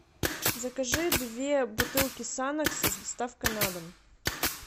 закажи две бутылки санекса с доставкой на дом